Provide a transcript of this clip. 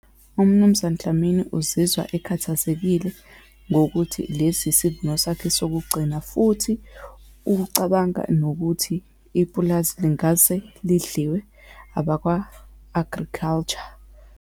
UMnumzane Dlamini uzizwa ekhathazekile ngokuthi lesi isivuno sakhe sokugcina, futhi ukucabanga nokuthi ipulazi lingase lidliwe abakwa-agriculture.